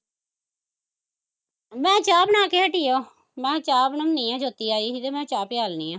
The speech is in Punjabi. ਮੈਂ ਚਾਹ ਬਣਾ ਕੇ ਹਟੀ ਆ, ਮੈਂ ਕਿਹਾ ਚਾਹ ਬਣਾਉਣੀ ਆ ਜੋਤੀ ਆਈ ਸੀ ਤੇ ਮੈਂ ਕਿਹਾ ਚਾਹ ਪਿਆਲਣੀ ਐ